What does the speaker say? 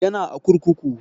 Yana a kurkuku